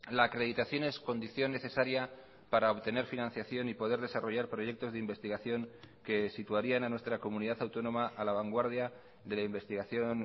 la acreditación es condición necesaria para obtener financiación y poder desarrollar proyectos de investigación que situarían a nuestra comunidad autónoma a la vanguardia de la investigación